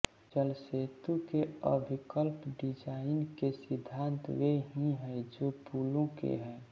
जलसेतु के अभिकल्प डिजाइन के सिद्धांत वे ही हैं जो पुलों के हैं